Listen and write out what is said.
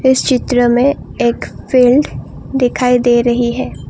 इस चित्र में एक फील्ड दिखाई दे रही है ।